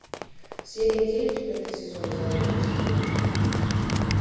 серия девять пятый сезон забудь и вспомни